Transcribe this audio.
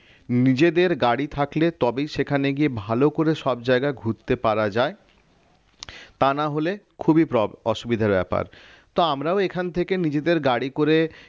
নিজেদের গাড়ি থাকলে তবেই সেখানে গিয়ে ভালো করে সব জায়গা ঘুরতে পারা যায় তা না হলে খুবই অসুবিধার ব্যাপার তো আমরাও এখান থেকে নিজেদের গাড়ি করে